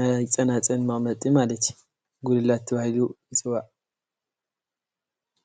ናይ ፀናፅል መቀመጢ እዩ።